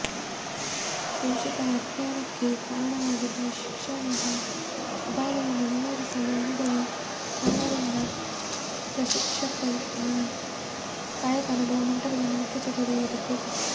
ಶೋಷಿತರ ಅಜ್ಞಾನಕ್ಕೆ ಕಾರಣವಾಗಿದ್ದ ಶಿಕ್ಷಣದ ಅಭಾವವನ್ನು ನಿವಾರಿಸಲು ಅನುಭವಿ ಶರಣರಿಂದ ಪ್ರಶಿಕ್ಷಣದ ಕಾಯಕ ಅನುಭವ ಮಂಟಪದ ಮುಖ್ಯ ಚಟುವಟಿಕೆಯಾಗಿತ್ತು